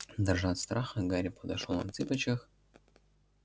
дрожа от страха гарри подошёл на цыпочках